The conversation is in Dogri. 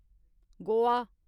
गोआ